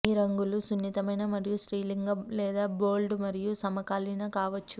మీ రంగులు సున్నితమైన మరియు స్త్రీలింగ లేదా బోల్డ్ మరియు సమకాలీన కావచ్చు